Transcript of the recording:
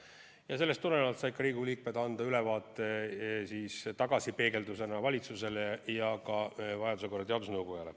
Ja sellest tulenevalt said Riigikogu liikmed anda ülevaate tagasipeegeldusena valitsusele ja vajaduse korral ka teadusnõukojale.